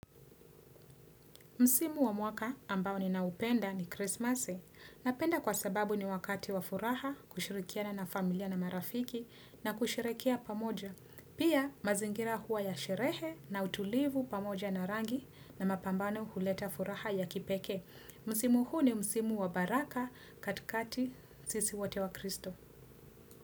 Msimu wa mwaka ambao ninaupenda ni Christmas. Napenda kwa sababu ni wakati wa furaha, kushirikiana na familia na marafiki na kusherekea pamoja. Pia mazingira huwa ya sherehe na utulivu pamoja na rangi na mapambano huleta furaha ya kipekee. Msimu huu ni msimu wa baraka katikati sisi wote wakristo.